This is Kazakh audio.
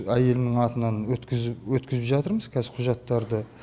әйелімнің атынан өткізіп жатырмыз қазір құжаттарды